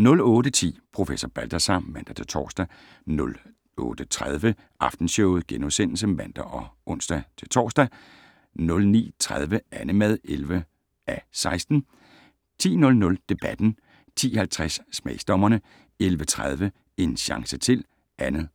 08:10: Professor Balthazar (man-tor) 08:30: Aftenshowet *(man og ons-tor) 09:30: Annemad (11:16) 10:00: Debatten 10:50: Smagsdommerne 11:30: En chance til (2:10)